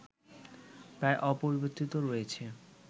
প্রায় অপরিবর্তিত রয়েছ